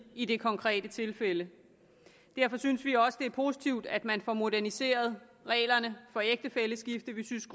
i det konkrete tilfælde derfor synes vi også det er positivt at man får moderniseret reglerne for ægtefælleskifte vi synes